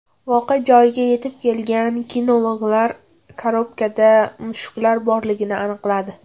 Voqea joyiga yetib kelgan kinologlar korobkada mushuklar borligini aniqladi.